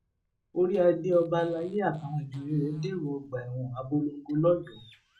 orí adé ọba alayé àtàwọn ìjòyè rẹ dèrò ọgbà ẹwọn abolongo lọyọọ